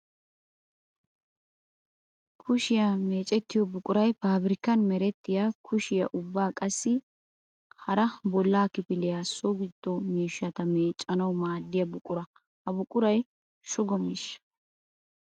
Kushiya meecettiyo buquray paabirkkan merettiya kushiya ubba qassi hara bolla kifiliyanne so giddo miishshata meeccanawu maadiya buqura. Ha buquray shugo miishsha.